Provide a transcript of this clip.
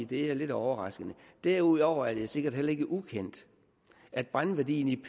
det er lidt overraskende derudover er det sikkert heller ikke ukendt at brændværdien i